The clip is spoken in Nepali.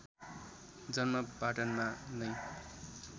जन्म पटनामा नै